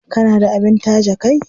Kana da abin taje kai?